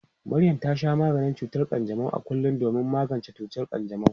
Maryam ta sha maganin cutar kanjamau a kullum domin magance cutar kanjamau.